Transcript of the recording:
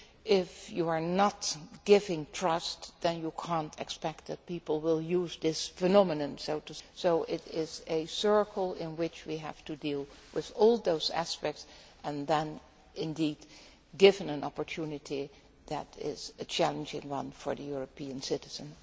If you are not giving trust then you cannot expect that people will use this phenomenon, so it is a circle in which we have to deal with all those aspects and then indeed give an opportunity that is a challenging one for the European citizen.